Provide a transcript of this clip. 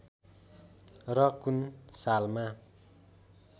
र कुन सालमा